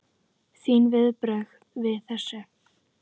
Þín viðbrögð við þessu?